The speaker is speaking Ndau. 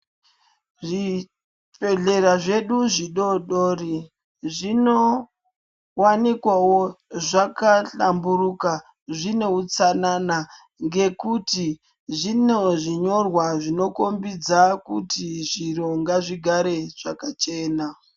Zvi bhedhlera zvedu zvi dodori zvino wanikwawo zvaka hlamburuka zvine utsanana ngekuti zvine zvinyorwa zvino kombidza kuti zviro ngazvi gare zvaka chena.